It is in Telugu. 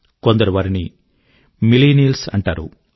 కొందరు వారిని మిల్లెనియల్స్ అంటారు